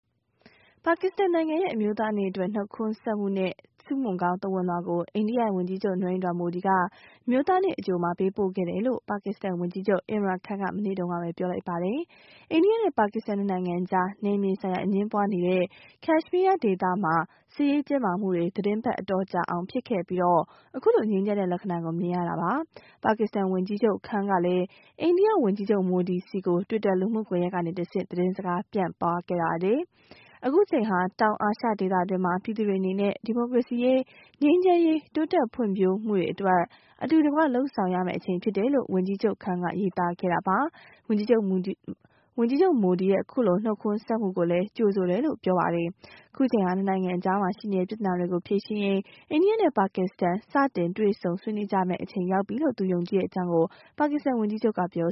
ပါကစ္စတန်နိုင်ငံရဲ့ အမျိုးသားနေ့အတွက် နှုတ်ခွန်းဆက်နဲ့ ဆုမွန်ကောင်းသဝဏ်လွှာကို အိန္ဒိယဝန်ကြီးချုပ် Narendra Modi က အမျိုးသားနေ့အကြိုမှာ ပေးပို့ခဲ့တယ်လို့ ပါကစ္စတန်ဝန်ကြီးချုပ် Imran Khan က မနေ့ကပဲ ပြောလိုက်ပါတယ်။ အိန္ဒိယနဲ့ ပါကစ္စတန်၂ နိုင်ငံအကြား နယ်မြေဆိုင်ရာ အငြင်းပွါးနေတဲ့ ကချ်မီးယားဒေသမှာ စစ်ရေး တင်းမာမှုတွေ သတင်းပတ် အတော်ကြာအောင် ဖြစ်ခဲ့ပြီး အခုလို ငြိမ်းချမ်းတဲ့ လက္ခဏာကို မြင်ရတာပါ။ ပါကစ္စတန်ဝန်ကြီးချုပ် Khan ကလည်း အိန္ဒိယ ဝန်ကြီးချုပ် Modi ဆီကို Twitter လူမှုကွန်ယက်ကတဆင့် သတင်းစကားပြန်ပါးခဲ့ပါတယ်။ အခုအချိန်ဟာ တောင်အာရှဒေသ အတွင်းက ပြည်သူတွေအနေနဲ့ ဒီမိုကရေစီရေး၊ ငြိမ်းချမ်းရေး၊ တိုးတက်ဖွင့်ဖြိုးမှုတွေအတွက် အတူတကွ လုပ်ဆောင်ရမယ့်အချိန် ဖြစ်တယ်လို့ ဝန်ကြီးချုပ် Khan က ရေးသားခဲ့တာပါ။ ဝန်ကြီးချုပ် Modi ရဲ့အခုလိုနှုတ်ခွန်းဆက်မှုကိုလည်း ကြိုဆိုတယ်လို့ ဆိုပါတယ်။ အခုချိန်ဟာ ၂နိုင်ငံအကြားရှိနေတဲ့ ပြဿနာတွေကို ဖြေရှင်းရေး အိန္ဒိယနဲ့ ပါကစ္စတန် စတင် တွေ့ဆုံ ဆွေးနွေးကြရမယ့် အချိန်ရောက်ပြီလို့ သူယုံကြည်ကြောင်း ပါကစ္စတန်ဝန်ကြီးချုပ်ကပြော